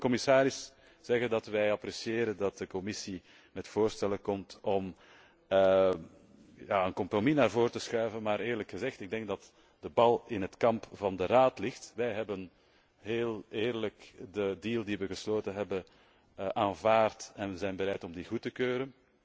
Ik wil de commissaris zeggen dat wij appreciëren dat de Commissie met voorstellen komt om een compromis naar voren te schuiven, maar eerlijk gezegd denk ik dat de bal in het kamp van de Raad ligt. Wij hebben heel eerlijk de deal die wij gesloten hebben, aanvaard en wij zijn bereid om die goed te keuren.